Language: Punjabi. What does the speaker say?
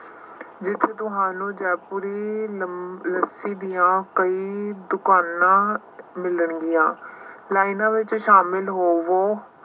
ਵਿੱਚ ਤੁਹਾਨੂੰ ਜੈਪੁਰੀ ਨਮ ਲੱਸੀ ਦੀਆਂ ਕਈ ਦੁਕਾਨਾਂ ਮਿਲਣਗੀਆਂ। ਲਾਈਨਾਂ ਵਿੱਚ ਸ਼ਾਮਿਲ ਹੋਵੋ